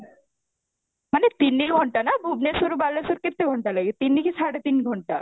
ମାନେ ତିନି ଘଣ୍ଟା ନା ଭୁବନେଶ୍ୱରୁ କେତେ ଘଣ୍ଟା ଲାଗେ ତିନି କି ସାଢେ ତିନି ଘଣ୍ଟା